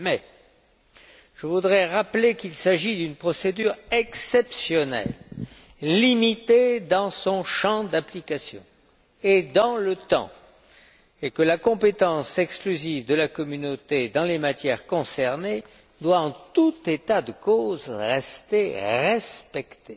Mais je voudrais rappeler qu'il s'agit d'une procédure exceptionnelle, limitée dans son champ d'application et dans le temps, et que la compétence exclusive de la Communauté dans les matières concernées doit, en tout état de cause, continuer d'être respectée.